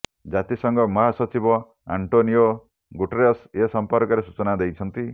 ଜାତିସଙ୍ଘ ମହାସଚିବ Antonio Guterres ଏ ସମ୍ପର୍କରେ ସୂଚନା ଦେଇଛନ୍ତି